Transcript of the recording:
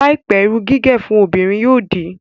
Láìpẹ́, irun gígẹ̀ fún obìnrin yóò di